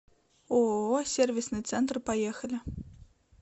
ооо сервисный центр поехали